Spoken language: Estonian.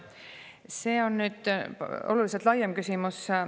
See on oluliselt laiem küsimus.